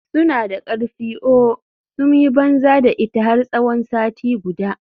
Suna da karfi ooo, sun yi banza da ita har tsawon sati guda.